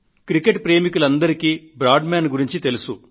cricket ప్రేమికులందరికీ Bradman గురించి తెలుసు